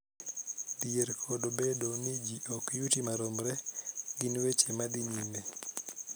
Dhier kod bedo ni ji ok yuti maromre gin weche ma dhi nyime